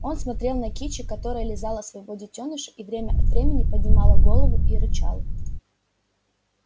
он смотрел на кичи которая лизала своего детёныша и время от времени поднимала голову и рычала